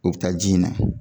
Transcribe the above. O bi taa ji in na